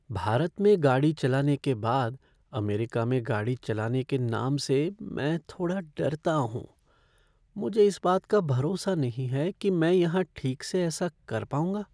भारत में गाड़ी चलाने के बाद अमेरिका में गाड़ी चलाने के नाम से मैं थोड़ा डरता हूँ । मुझे इस बात का भरोसा नहीं है कि मैं यहाँ ठीक से ऐसा कर पाऊँगा।